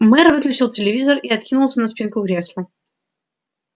мэр выключил телевизор и откинулся на спинку кресла